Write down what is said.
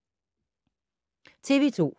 TV 2